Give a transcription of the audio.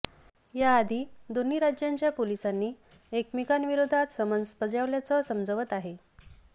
याआधी दोन्ही राज्यांच्या पोलिसांनी एकमेकांविरोधात समन्स बजावल्याचं समजवतं आहे